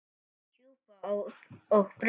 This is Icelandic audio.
Súpa og brauð.